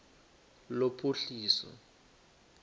lophuhliso